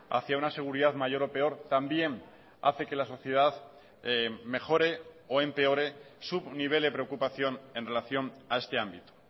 hacia una seguridad mayor o peor también hace que la sociedad mejore o empeore su nivel de preocupación en relación a este ámbito